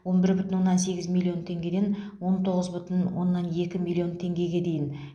он бір бүтін оннан сегіз миллион теңгеден он тоғыз бүтін оннан екі миллион теңгеге дейін